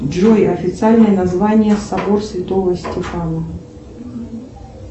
джой официальное название собор святого стефана